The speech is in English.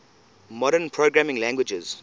modern programming languages